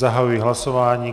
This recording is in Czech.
Zahajuji hlasování.